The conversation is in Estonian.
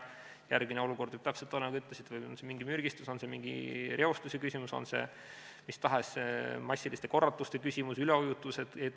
Järgmine olukord võib, täpselt nagu te ütlesite, olla mingi mürgistus, mingi reostus, mis tahes massiline korratus, üleujutus.